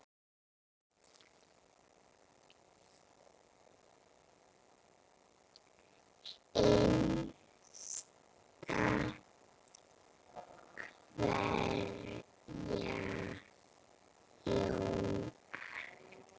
Hinsta kveðja Jón Axel.